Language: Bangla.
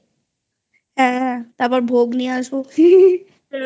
হ্যাঁ তারপর ভোগ নিয়ে আসবো